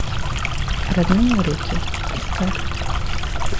родные руки искать